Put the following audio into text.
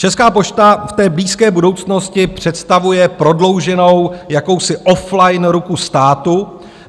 Česká pošta v té blízké budoucnosti představuje prodlouženou jakousi offline ruku státu.